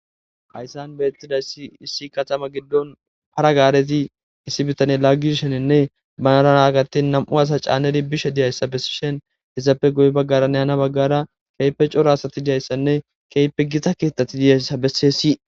Hayssan beetidayssi issi katama giddon hara gaarezi issi bitaney laagishininne banara gattin nam77u asa caanidi bishe dizayssa bessishin izappe guye baggaaranne ana baggaara keehippe cora asati dizayssanne keehippe Gita keethati dizayssa besseesi.